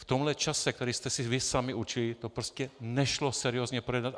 V tomhle čase, který jste si vy sami určili, to prostě nešlo seriózně projednat.